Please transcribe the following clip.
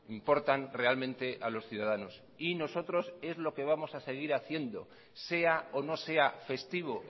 importan realmente a los ciudadanos y nosotros es lo que vamos a seguir haciendo sea o no sea festivo